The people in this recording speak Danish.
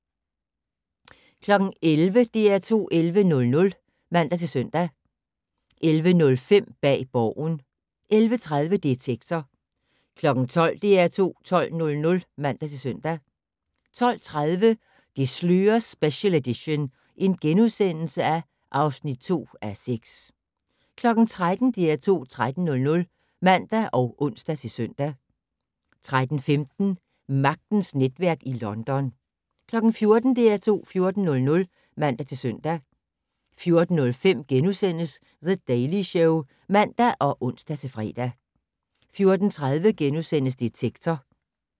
11:00: DR2 11:00 (man-søn) 11:05: Bag Borgen 11:30: Detektor 12:00: DR2 12:00 (man-søn) 12:30: Det slører special edition (2:6)* 13:00: DR2 13:00 (man og ons-søn) 13:15: Magtens netværk i London 14:00: DR2 14:00 (man-søn) 14:05: The Daily Show *(man og ons-fre) 14:30: Detektor *